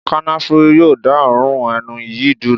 Kànáfùrú yóò dá òórùn ẹnu yìí dúró.